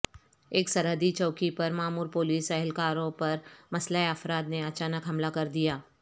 ایک سرحدی چوکی پر مامور پولیس اہلکاروں پر مسلح افراد نے اچانک حملہ کر دیا